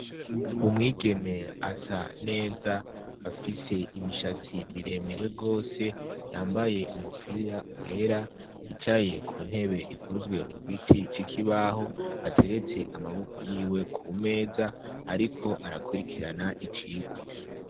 Umwigeme asa neza afise imishatsi miremire gose, yambaye umupira wera, yicaye kuntebe ikozwe mugiti c'ikibaho, ateretse amabokoko yiwe kumeza ariko arakurikirana icigwa.